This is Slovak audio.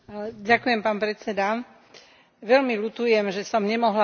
Veľmi ľutujem, že som nemohla hlasovať za svoju vlastnú správu.